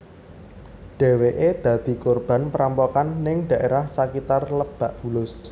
Dheweké dadi korban perampokan ning daerah sakitar Lebak Bulus